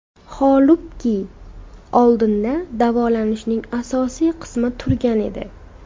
Holbuki, oldinda davolanishning asosiy qismi turgan edi.